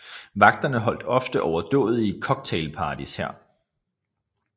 Vagterne holdt ofte overdådige cocktailparties her